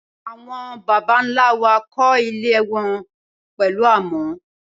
Awon bàbá ńla wà kọ ìlé wọn pẹlu àmọ